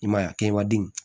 I m'a ye a kɛbaden